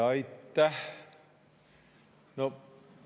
Aitäh!